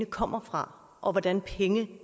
kommer fra og hvordan penge